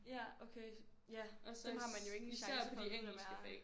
Ja okay ja dem har man jo ikke en chance for at vide hvem er